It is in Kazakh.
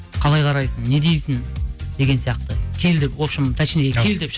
қалай қарайсың не дейсің деген сияқты кел деп вообщем точнее кел деп